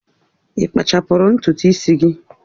Ị kpachapụrụ ntutu isi gị?